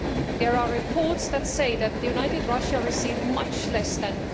There are reports which say that United Russia received much less than